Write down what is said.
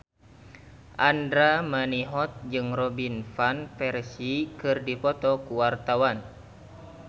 Andra Manihot jeung Robin Van Persie keur dipoto ku wartawan